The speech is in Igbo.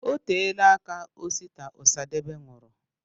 Oteela aka Osita Osadebe nwụrụ.